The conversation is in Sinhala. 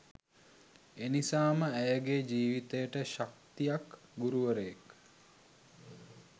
එනිසාම ඇයගේ ජීවිතයට ශක්තියක් ගුරුවරයෙක්